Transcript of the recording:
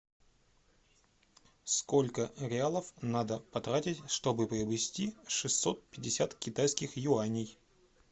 сколько реалов надо потратить чтобы приобрести шестьсот пятьдесят китайских юаней